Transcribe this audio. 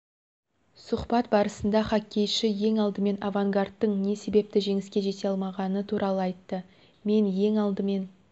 сұхбат барысында хоккейші ең алдымен авангардтың не себепті жеңіске жете алмағаны туралы айтты мен ең алдымен